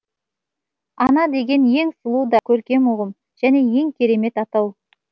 ана деген ең сұлу да көркем ұғым және ең керемет атау